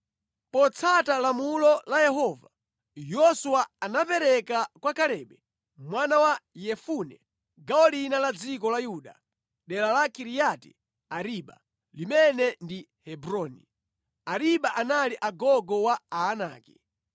Potsata lamulo la Yehova, Yoswa anapereka kwa Kalebe mwana wa Yefune gawo lina la dziko la Yuda dera la Kiriati Ariba, limene ndi Hebroni. (Ariba anali gogo wa Aanaki).